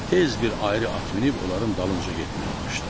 Tez bir ayrı at minib onların dalınca getməyə başladı.